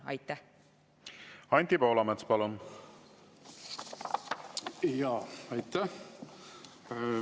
Aitäh!